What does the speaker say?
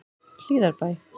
Hlíðarbæ